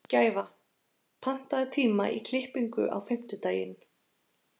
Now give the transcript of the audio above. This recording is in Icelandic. Gæfa, pantaðu tíma í klippingu á fimmtudaginn.